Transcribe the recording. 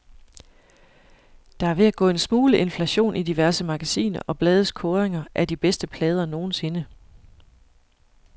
Der er ved at gå en smule inflation i diverse magasiner og blades kåringer af de bedste plader nogensinde.